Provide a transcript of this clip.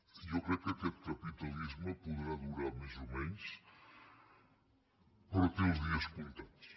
jo crec que aquest capitalisme podrà durar més o menys però té els dies comptats